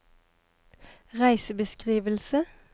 reisebeskrivelse